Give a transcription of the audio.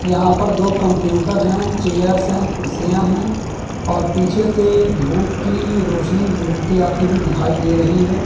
यहां पर दो कंप्यूटर हैं चेयरस् हैं कुर्सियां हैं और पीछे से धूप की रोशनी विजिबिलिटी आई हुई दिखाई दे रही है।